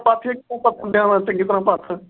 ਤੂੰ ਪਾਥੀਆਂ ਕਿਵੇਂ ਪਥਨ ਦਈਆਂ। ਚੰਗੀ ਤਰ੍ਹਾਂ ਪਥ।